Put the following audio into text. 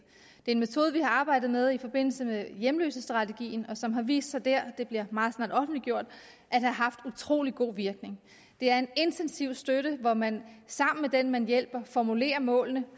det er en metode vi har arbejdet med i forbindelse med hjemløsestrategien og som har vist sig dér det bliver meget snart offentliggjort at have haft utrolig god virkning det er en intensiv støtte hvor man sammen med den man hjælper formulerer målene